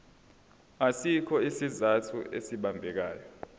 asikho isizathu esibambekayo